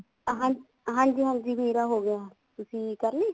ਹਾਂ ਹਾਂਜੀ ਹਾਂਜੀ ਮੇਰਾ ਹੋਗਿਆ ਤੁਸੀਂ ਕਰਲੀ